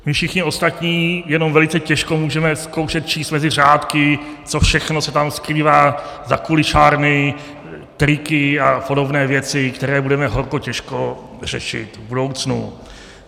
My všichni ostatní jenom velice těžko můžeme zkoušet číst mezi řádky, co všechno se tam skrývá za kulišárny, triky a podobné věci, které budeme horko těžko řešit v budoucnu.